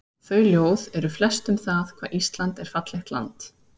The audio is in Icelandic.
Þau ljóð eru flest um það hvað Ísland er fallegt land.